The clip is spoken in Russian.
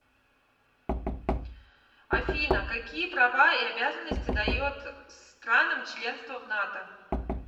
афина какие права и обязанности дает странам членство в нато